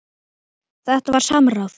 Þetta var samráð.